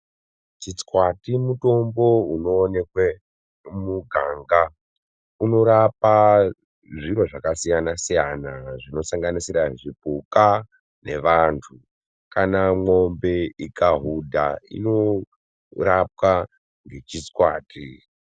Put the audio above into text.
Chitswati mutombo unwanikwe mumuganga unorapa zviro zvakasiyana siyana zvinosanganisira zvipuka ngevantu kana mombe ikahudha inorapwe nechitswati.